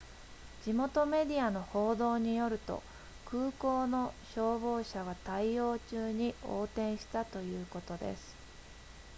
地元メディアの報道によると空港の消防車が対応中に横転したということです